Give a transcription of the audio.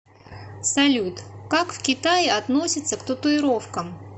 салют как в китае относятся к татуировкам